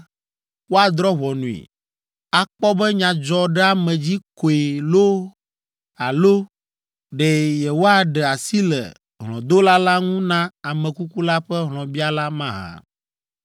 woadrɔ̃ ʋɔnui, akpɔ be nyadzɔɖeamedzi koe loo alo ɖe yewoaɖe asi le hlɔ̃dola la ŋu na ame kuku la ƒe hlɔ̃biala mahã.